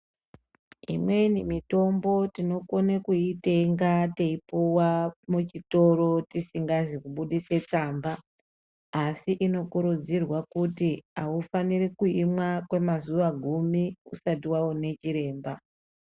Imweni mitombo tinokona kuitenga teipuwa muchitoro tisingazi kubudisa tsamba asi inokurudzirwa kuti awufaniri kuimwa kwemazuva gumi usati waona chiremba.